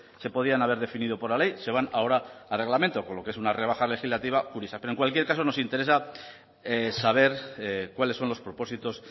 se podían haber definido por la ley se van ahora a reglamento con lo que es una rebaja legislativa curiosa pero en cualquier caso nos interesa saber cuáles son los propósitos